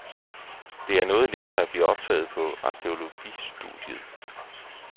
Det er noget lettere at blive optaget på arkæologistudiet.